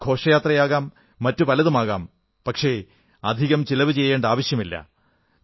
ഘോഷയാത്രയാകാം മറ്റുപലതുമാകാം പക്ഷേ അധികം ചിലവു ചെയ്യേണ്ട ആവശ്യമില്ല